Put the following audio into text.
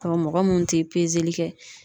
Ɔn mɔgɔ mun te kɛ